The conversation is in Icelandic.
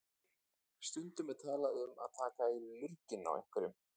Stundum er talað um að taka í lurginn á einhverjum.